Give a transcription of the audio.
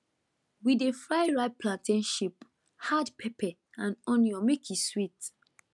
we dey fry ripe plantain chip add pepper and onion make e sweet